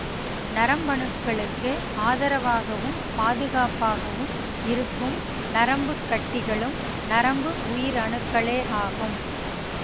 நரம்பணுக்களுக்கு ஆதரவாகவும் பாதுகாப்பாகவும் இருக்கும் நரம்புக்கட்டிகளும் நரம்பு உயிரணுக்களே ஆகும்